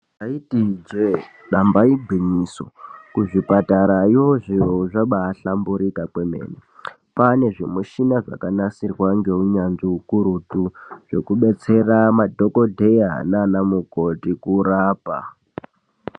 Taiti ijee damba igwinyiso kuzvipatarayo zviro zvaba ahlaburuka kwemene kwaine zvimishina zvakanasirwa ngeunyanzvi ukurutu zvekubetsera andhokodheya nanamukoti kurapa.